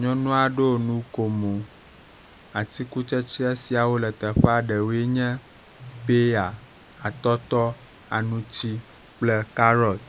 Nyɔnua ɖo nukomo, atikutsetse siawo le teƒea ɖewoe nye peya, atɔtɔ, aŋuti kple karɔt.